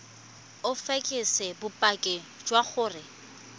o fekese bopaki jwa gore